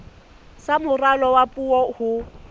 sa moralo wa puo ho